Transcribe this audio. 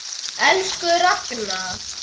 Elsku Ragna.